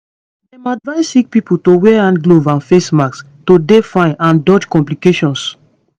dem advise sick pipo to wear hand gloves and face masks to dey fine and dodge complications